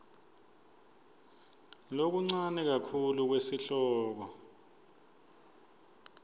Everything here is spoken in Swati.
lokuncane kakhulu kwesihloko